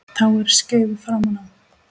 Tá er skeifu framan á.